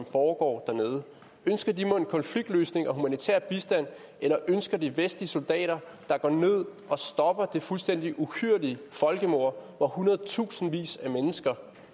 foregår dernede ønsker de mon konfliktløsninger og humanitær bistand eller ønsker de vestlige soldater der går ned og stopper det fuldstændig uhyrlige folkemord hvor hundredtusindvis af mennesker